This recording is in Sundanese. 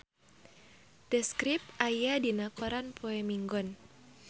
The Script aya dina koran poe Minggon